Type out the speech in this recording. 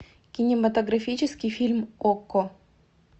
кинематографический фильм окко